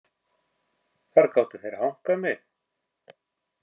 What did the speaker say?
Þar gátu þeir hankað mig.